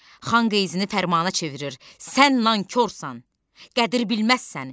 Xan qeyzini fərmana çevirir: Sən nankorsan, qədir bilməzsən.